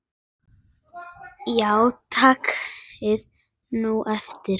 Já, það er bara svona.